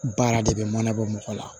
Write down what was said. Baara de bɛ mana bɔ mɔgɔ la